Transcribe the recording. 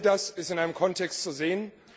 All das ist in einem Kontext zu sehen.